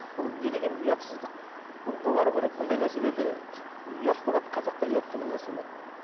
бұл не деген ұятсыздық бұны доғару керек бұндай нәрселерді ұят болады қазақта ұят деген нәрсе бар